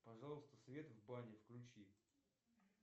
пожалуйста свет в бане включи